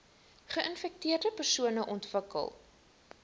geinfekteerde persone ontwikkel